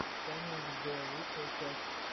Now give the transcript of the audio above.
саня хд лучшая часть